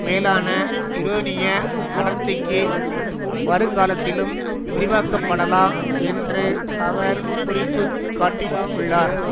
மேலான யுரேனிய அடர்த்திக்கு வருங்காலத்திலும் விரிவாக்கப்படலாம் என்று அவர் குறிப்பு காட்டி உள்ளார்